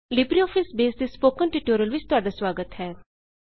Libre office base ਉੱਤੇ spoken tutorial ਵਿੱਚ ਤੁਹਾਡਾ ਸਵਾਗਤ ਹੈ